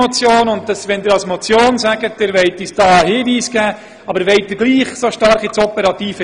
Wollen Sie tatsächlich so stark in den operativen Bereich hineinsteuern?